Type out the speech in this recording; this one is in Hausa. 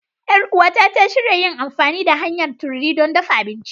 Yar uwata ta shirya yin amfani da hanyar tururi don dafa abinci.